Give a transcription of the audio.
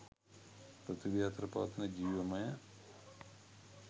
පෘථීවිය අතර පවතින ජීවමය